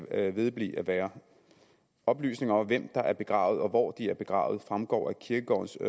vedblive med at være oplysninger om hvem der er begravet og hvor de er begravet fremgår af kirkegårdens